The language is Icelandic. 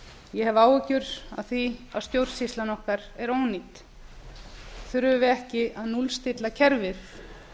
ég hef áhyggjur af því að stjórnsýslan okkar er ónýt þurfum við ekki að núllstilla kerfið